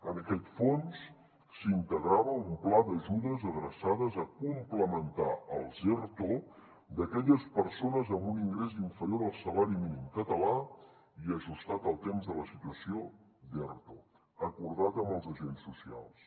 en aquest fons s’integrava un pla d’ajudes adreçades a complementar els erto d’aquelles persones amb un ingrés inferior al salari mínim català i ajustat al temps de la situació d’erto acordat amb els agents socials